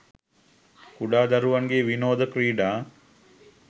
කුඩා දරුවන්ගේ විනෝද ක්‍රීඩා